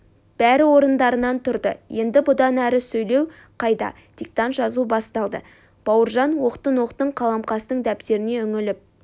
бәрі орындарынан тұрды енді бұдан әрі сөйлеу қайда диктант жазу басталды бауыржан оқтын-оқтын қаламқастың дәптеріне үңіліп